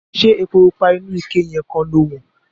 Ṣé epo pupa inú ike yẹn kan lo wọ́n?